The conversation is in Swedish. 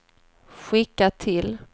skicka till